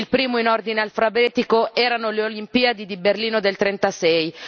Il primo, in ordine alfabetico, erano le Olimpiadi di Berlino del '36